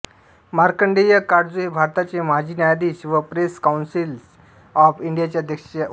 मार्कंडेय काटजू हे भारताचे माजी न्यायाधीश व प्रेस काउन्सिल ऑफ इंडियाचे अध्यक्ष आहेत